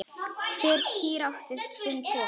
Hver kýr átti sinn poka.